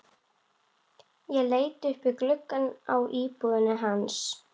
Ég leit upp í gluggana á íbúðinni hans.